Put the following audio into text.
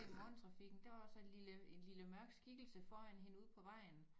I morgentrafikken der var så en lille en lille mørk skikkelse foran hende ude på vejen